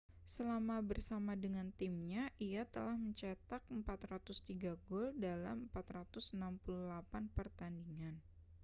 selama bersama dengan timnya ia telah mencetak 403 gol dalam 468 pertandingan